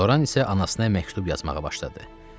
Loran isə anasına məktub yazmağa başladı.